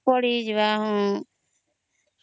ପଢି ଯିବା ହଁ